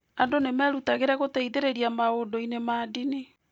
Andũ nĩ merutagĩra gũteithĩrĩria maũndũ-inĩ ma ndini.